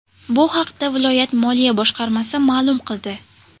Bu haqda viloyat moliya boshqarmasi ma’lum qildi .